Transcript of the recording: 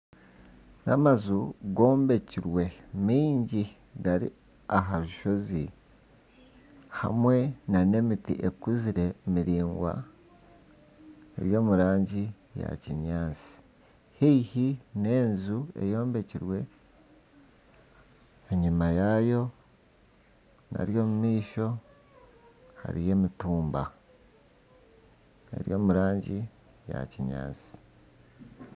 N'amaju gombekirwe mingi gari aha rushozi hamwe nana emiti ekuzire miraingwa eri omu rangi eya kinyaatsi haihi n'enju eyombekirwe enyima yaayo hariya omu maisho hariyo emitumba eri omurangi ya kinyaatsi